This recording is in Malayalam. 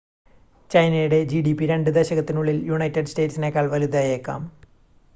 ചൈനയുടെ ജിഡിപി രണ്ട് ദശകത്തിനുള്ളിൽ യുണൈറ്റഡ് സ്റ്റേറ്റ്സിനേക്കാൾ വലുതായേക്കാം